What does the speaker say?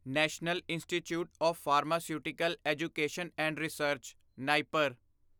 national institute of pharmaceutical education and research NIPER